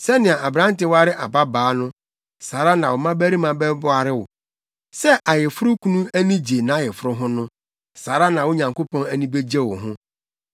Sɛnea aberante ware ababaa no, saa ara na wo mmabarima bɛware wo; sɛ ayeforokunu ani gye nʼayeforo ho no, saa ara na wo Nyankopɔn ani begye wo ho.